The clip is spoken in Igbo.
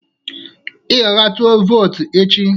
Ị ga-aga tụọ vootu echi